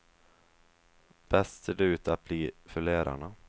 Bäst ser det ut att bli för lärarna.